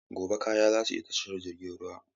Gobe ​​kayana zasu isa tashar ruwa.